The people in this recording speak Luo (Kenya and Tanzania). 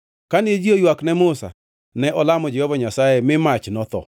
Kane ji oywak ne Musa, ne olamo Jehova Nyasaye mi mach notho.